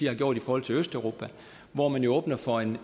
har gjort i forhold til østeuropa hvor man åbner for en